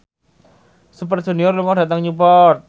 Super Junior lunga dhateng Newport